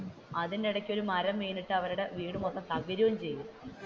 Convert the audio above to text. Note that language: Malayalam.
അതിന്റെ ഇടക്ക് ഒരു മരം വീണിട്ടു അവരുടെ വീട് മൊത്തം തകരുകയും ചെയ്‌തു.